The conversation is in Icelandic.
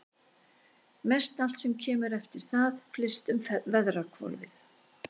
Mestallt sem kemur eftir það flyst um veðrahvolfið.